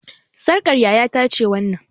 Sarƙar yaya ta ce wannan